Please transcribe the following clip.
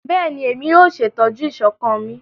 Bẹẹni, Emi yoo ṣetọju iṣọkan mi